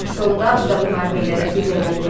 Sonda bu da müharibə ilə nəticələndi.